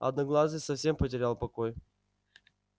одноглазый совсем потерял покой